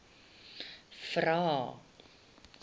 vvvvrae